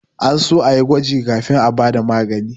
An so a yi gwaji kafin a ba da magani